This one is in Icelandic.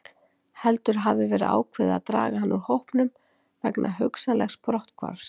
Heldur hafi verið ákveðið að draga hann úr hópnum vegna hugsanlegs brotthvarfs.